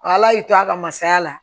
Ala y'i to a ka masaya la